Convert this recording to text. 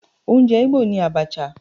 Oúnjẹ Igbo ni Abacha.